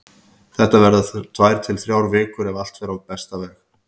Þetta verða tvær til þrjár vikur ef allt fer á besta veg.